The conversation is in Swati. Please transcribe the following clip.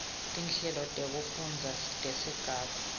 tinhlelo tekufundza tesigaba